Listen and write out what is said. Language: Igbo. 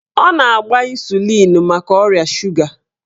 Ọ na-agba ịsụlịn maka ọrịa suga